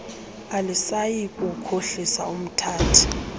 alisayi kukhohlisa umthathi